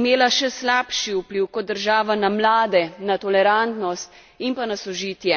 imela še slabši vpliv kot država na mlade, na tolerantnost in pa na sožitje.